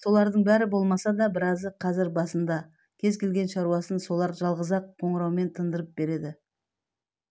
солардың бәрі болмаса да біразы қазір басында кез келген шаруасын солар жалғыз-ақ қоғыраумен тындырып береді